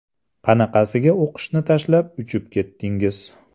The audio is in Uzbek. Qanaqasiga o‘qishni tashlab uchib ketdingiz?